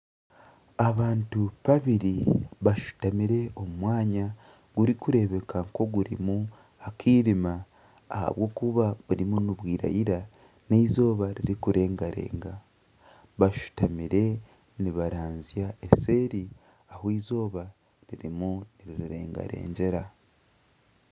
Abantu babiri bashutamire omu mwanya ogurikureebeka nk'oguriho omwirima ahabwokuba burimu nibwira n'eizooba ririkurenga renga bashutamire nibaranzya seeri ahu eizooba ririmu nirirengarengyera